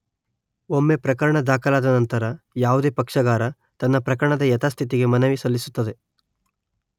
ಒಮ್ಮೆ ಪ್ರಕರಣ ದಾಖಲಾದ ನಂತರ ಯಾವುದೇ ಪಕ್ಷಗಾರ ತನ್ನ ಪ್ರಕರಣದ ಯಥಾಸ್ಥಿತಿಗೆ ಮನವಿ ಸಲ್ಲಿಸುತ್ತದೆ